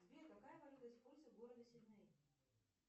сбер какая валюта используется в городе сидней